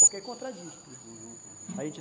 Porque é contradiz tudo, uhum